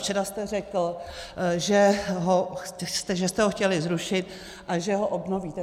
Včera jste řekl, že jste ho chtěli zrušit a že ho obnovíte.